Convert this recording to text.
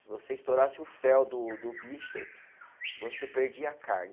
Se você estourasse o fel do do bicho, você perdia a carne.